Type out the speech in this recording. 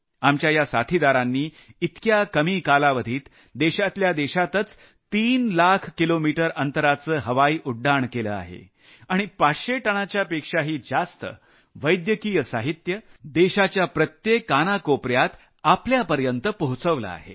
आपल्या या साथीदारांनी इतक्या कमी कालावधीत देशातल्या देशातच तीन लाख किलोमीटर अंतराचं हवाई उड्डाण केलं आहे आणि 500 टनापेक्षाही जास्त वैद्यकीय साहित्य देशाच्या प्रत्येक कानाकोपर्यात आपल्यापर्यंत पोहचवलं आहे